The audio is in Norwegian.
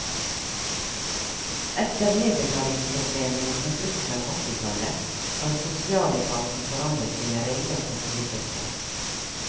Etter nedbetalingsproblemene fra slutten av åttitallet har sosialetaten forandret sine regler for boligstøtte.